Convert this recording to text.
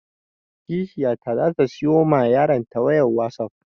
Kishiyata za ta siyo ma yaron ta wayan wasap